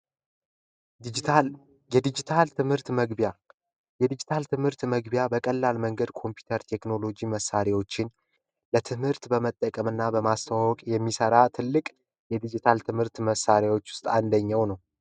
የድጅታል ትምህርት መግቢያ፦ የድጅታል ትምህርት መግቢያ በቀላል መንገድ ኮምፒውተር መሣሪያዎችን ለትምህርት በመጠቀም እና በማስተዋወቅ የሚሠራ ትልቅ የድጅታል ትምህርት መሣሪያዎች ውስጥ አንደኛው ነው።